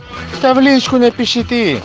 сам в личку напиши ты